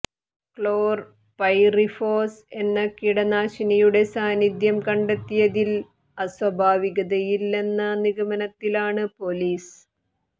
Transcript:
ക്ലോർ പൈറിഫോസ് എന്ന കീടനാശിനിയുടെ സാന്നിധ്യം കണ്ടെത്തിയതിൽ അസ്വാഭാവികതയില്ലെന്ന നിഗമനത്തിലാണ് പൊലീസ്